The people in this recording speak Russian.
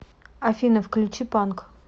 афина включи панк